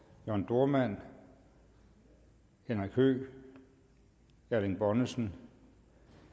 jørn dohrmann henrik høegh erling bonnesen